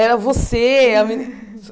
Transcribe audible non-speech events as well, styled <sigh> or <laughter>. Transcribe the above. Era você a meni <laughs>